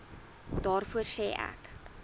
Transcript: daarvoor sê ek